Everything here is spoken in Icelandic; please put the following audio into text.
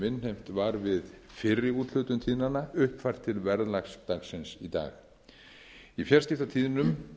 innheimt var við fyrri úthlutun tíðnanna uppfært til verðlags dagsins í dag í fjarskiptatíðnum